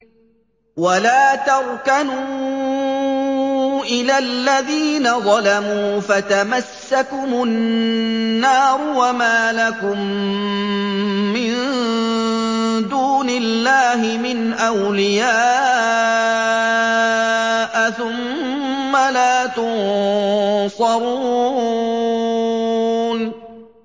وَلَا تَرْكَنُوا إِلَى الَّذِينَ ظَلَمُوا فَتَمَسَّكُمُ النَّارُ وَمَا لَكُم مِّن دُونِ اللَّهِ مِنْ أَوْلِيَاءَ ثُمَّ لَا تُنصَرُونَ